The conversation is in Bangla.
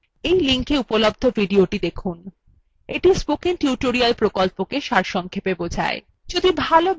এই লিঙ্কএ উপলব্ধ ভিডিওটি spoken tutorial প্রকল্পকে সারসংক্ষেপে বোঝায়